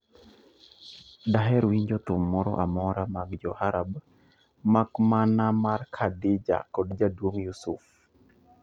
Daher winjo thum moro amora mag jo arab mak mana mar Khadija kod jaduong' Yusuf.